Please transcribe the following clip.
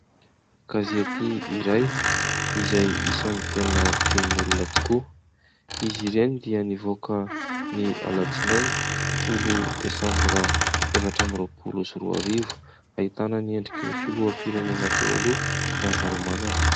Gazety iray izay isany tena tian'ny olona tokoa ; izy ireny dia nivoaka ny alatsinainy roa desambra efatra ambin'ny roapolo sy roa arivo ; ahitana ny endrikin'ny filoham-pirenena teo aloha Ravalomanana.